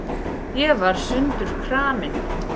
Ég var sundurkramin.